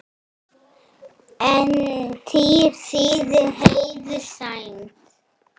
En tír þýðir heiður, sæmd.